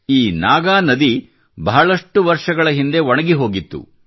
ಈ ನಾಗಾ ನದಿಯು ಬಹಳಷ್ಟು ವರ್ಷಗಳ ಹಿಂದೆ ಒಣಗಿಹೋಗಿತ್ತು